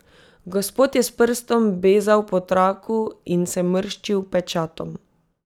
Gospod je s prstom bezal po traku in se mrščil pečatom.